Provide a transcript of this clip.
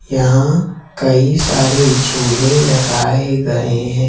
यहां कई सारे झूले लगाए गए हैं।